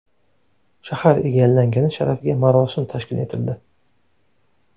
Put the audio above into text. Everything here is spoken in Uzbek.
Shahar egallangani sharafiga marosim tashkil etildi.